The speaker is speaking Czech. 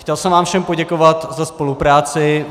Chtěl jsem vám všem poděkovat za spolupráci.